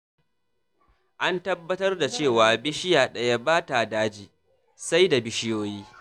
An tabbatar da cewa bishiya ɗaya bata daji, sai da bishiyoyi.